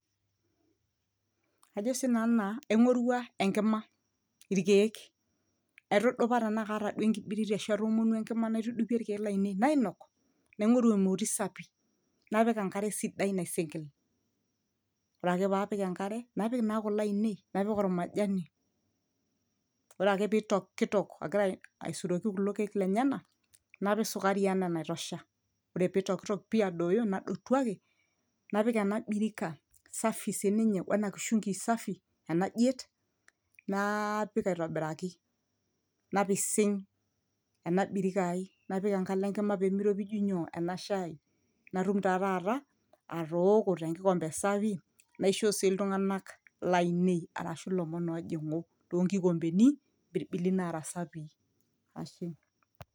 ajo sinanu naa aing'orua enkima irkeek aitudupa tenaa kaata duo enkibiriti ashu atomonuo enkima naitudupie irkeek lainei nainok naing'oru emoti sapi napik enkare sidai naisinkil ore ake paapik enkare napik naa kule ainei napik ormajani ore ake pitokitok agira aisuroki kulo keek lenyenak napik sukari enaa enaitosha ore pitokitok pii adooyo nadotu ake napik ena birika safi sininye wena kishungi safi enajiet naapik aitobiraki napising ena birika ai napik enkalo enkima pemiropiju nyoo ena shai natum taa taata atooko tenkikombe sapi naishoo sii iltung'anak lainei arashu ilomon ojing'u tonkikombeni mpirbili nara sapii ashe.